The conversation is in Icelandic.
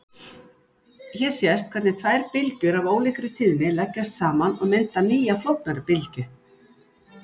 Hér sést hvernig tvær bylgjur af ólíkri tíðni leggjast saman og mynda nýja flóknari bylgju.